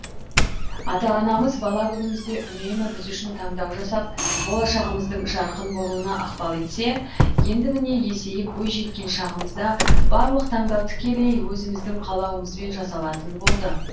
ата анамыз бала күнімізде үнемі біз үшін таңдау жасап болашағымыздың жарқын болуына ықпал етсе енді міне есейіп бойжеткен шағымызда барлық таңдау тікелей өзіміздің қалауымызбен жасалатын болды